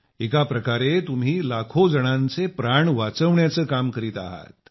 एका प्रकारे तुम्ही लाखो जणांचे प्राण वाचविण्याचं काम करीत आहात